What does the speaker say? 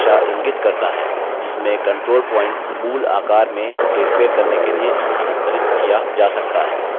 यह दिशा इंगित करता है जिसमें control point moved आकार में हेरफेर करने के लिए स्थानांतरित किया जा सकता है